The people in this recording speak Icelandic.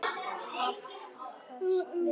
Afköst með